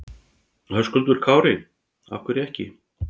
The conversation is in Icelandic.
Höskuldur Kári: Af hverju ekki?